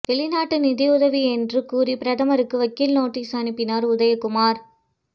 வெளிநாட்டு நிதியுதவி என்று கூறி பிரதமருக்கு வக்கீல் நோட்டீஸ் அனுப்பினார் உதயக்குமார்